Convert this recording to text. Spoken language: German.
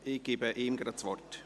Ich gebe ihm das Wort.